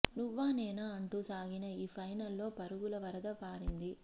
నువ్వా నేనా అంటూ సాగిన ఈ ఫైనల్ లో పరుగుల వరద పారింది